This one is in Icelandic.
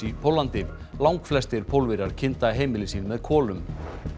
í Póllandi langflestir Pólverjar kynda heimili sín með kolum